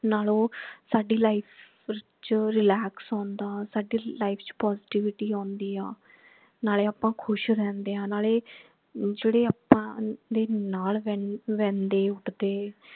ਨਾਲ ਉਹ ਸਾਡੀ life ਚ relax ਹੋਣ ਦਾ ਸਾਡੀ life ਚ positivity ਆਂਦੀ ਹੈ ਨਾਲੇ ਆਪਾ ਖੁਸ਼ ਰਹਿੰਦੇ ਹੈ ਨਾਲੇ ਜੇਡੇ ਆਪਾ ਦੇ ਨਾਲ ਰਹਿੰਦੇ ਉਠਦੇ